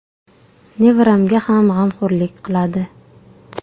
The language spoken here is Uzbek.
Nevaramga ham g‘amxo‘rlik qiladi.